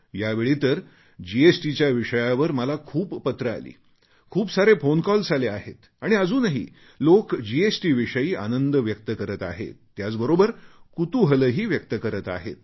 यावेळी तर जीएसटीच्या विषयावर मला खूप पत्रे आली खूप सारे फोनकॉल्स आले आहेत आणि अजूनही लोक जीएसटीविषयी आनंद व्यक्त करत आहेत त्याचबरोबर कुतुहलही व्यक्त करत आहेत